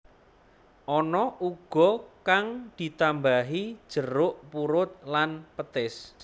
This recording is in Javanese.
Ana uga kang ditambahi jeruk purut lan petis